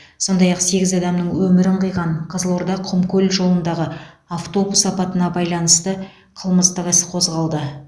сондай ақ сегіз адамның өмірін қиған қызылорда құмкөл жолындағы автобус апатына байланысты қылмыстық іс қозғалды